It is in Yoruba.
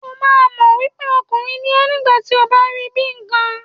O máa mọ̀ wípé ọkùnrin ni ẹ́ nígbà tí ó bá rí bíi ìkan.